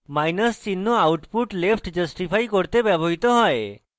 minus চিহ্ন output left justify করতে ব্যবহৃত হয়